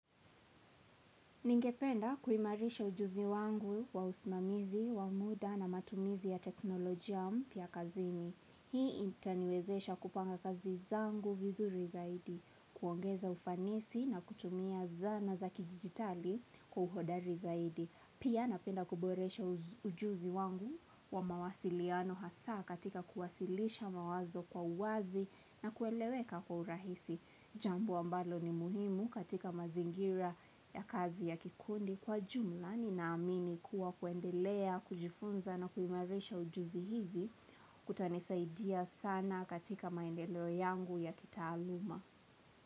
Ningependa kuimarisha ujuzi wangu wa usimamizi, wa muda na matumizi ya teknolojia mpya kazini. Hii itaniwezesha kupanga kazi zangu vizuri zaidi, kuongeza ufanisi na kutumia zana za kijidijitali kwa uhodari zaidi. Pia napenda kuboresha ujuzi wangu wa mawasiliano hasa katika kuwasilisha mawazo kwa uwazi na kueleweka kwa urahisi. Jambo ambalo ni muhimu katika mazingira ya kazi ya kikundi kwa jumla ni na amini kuwa kuendelea, kujifunza na kuimarisha ujuzi hizi kutanisaidia sana katika maendeleo yangu ya kitaaluma.